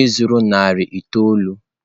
ịzụrụ narị itoolu?